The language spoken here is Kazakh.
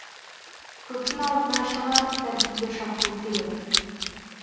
көптің алдына шығарып тәртіпке шақыру керек